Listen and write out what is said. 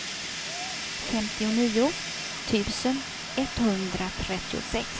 femtionio tusen etthundratrettiosex